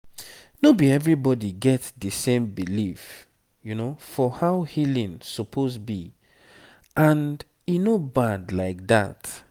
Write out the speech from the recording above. no be everybody get the same belief for how healing suppose be and e no bad like that